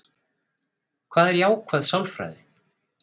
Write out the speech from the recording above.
Hvað er jákvæð sálfræði?